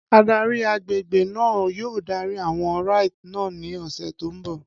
Adarí àgbègbè náà yóò darí àwọn rites náà ní ọ̀sẹ̀ tó ń bọ̀.